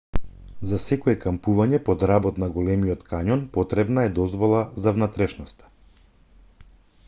за секое кампување под работ на големиот кањон потребна е дозвола за внатрешноста